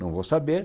Não vou saber.